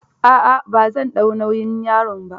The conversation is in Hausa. A'a, ba zan dau nauyi yaron ba.